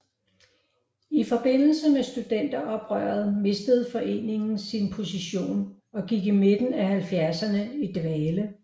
I forbindelse med studenteroprøret mistede foreningen sin position og gik i midten af 70erne i dvale